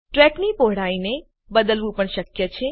ટ્રેકની પહોળાઈને બદલવું પણ શક્ય છે